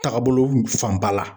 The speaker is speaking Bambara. Tagabolo fanba la